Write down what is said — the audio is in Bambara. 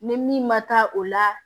Ni min ma taa o la